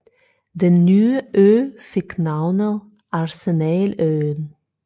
Den nye ø fik navnet Arsenaløen